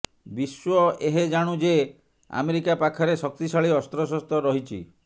ବିଶ୍ୱ ଏହେଜାଣୁ ଯେ ଆମେରିକା ପାଖରେ ଶକ୍ତିଶାଳୀ ଅସ୍ତ୍ରଶସ୍ତ୍ର ରହିଛି